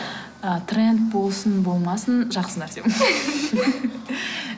ы тренд болсын болмасын жақсы нәрсе м